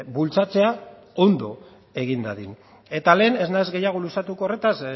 bultzatzea ondo egin dadin eta lehen ez naiz gehiago luzatuko horretaz